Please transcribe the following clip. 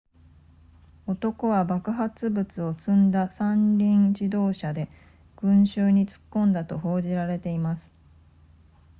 男は爆発物を積んだ三輪自動車で群衆に突っ込んだと報じられています